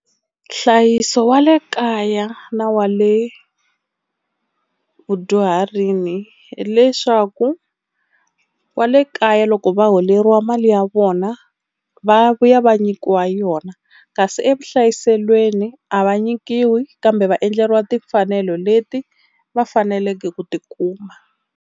Nhlayiso wa le kaya na wa le vudyuharini hileswaku wa le kaya loko va holeriwa mali ya vona vona va vuya va nyikiwa yona, kasi evuhlayiselweni a va nyikiwi kambe va endleriwa timfanelo leti va faneleke ku ti kuma.